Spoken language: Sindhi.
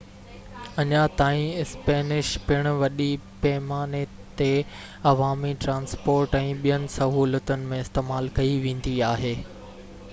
اڃان تائين اسپينش پڻ وڏي پيماني تي عوامي ٽرانسپورٽ ۽ ٻين سهولتن ۾ استعمال ڪئي ويندي آهي